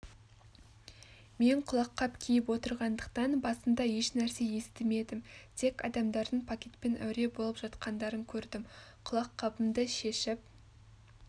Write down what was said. мен құлаққап киіп отырғандықтан басында ешнәрсе естімедім тек адамдардың пакетпен әуре болып жатқандарын көрдім құлаққабымды шешіп